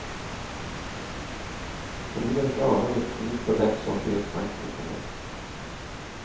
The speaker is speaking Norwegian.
Fordi man ikke aner virkningen på den som blir tvangsinformert.